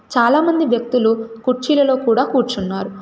చాలామంది వ్యక్తులు కుర్చీలలో కూడా కూర్చున్నారు.